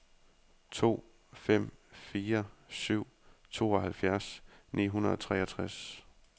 to fem fire syv tooghalvtreds ni hundrede og treogtres